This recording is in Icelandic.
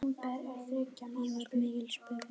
Af þessu varð mikill spuni.